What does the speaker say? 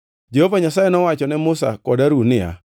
Jehova Nyasaye nowacho ne Musa kod Harun niya,